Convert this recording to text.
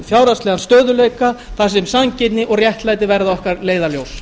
fjárhagslegan stöðugleika þar sem sanngirni og réttlæti verða okkar leiðarljós